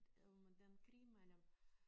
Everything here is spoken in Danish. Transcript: Om den krig mellem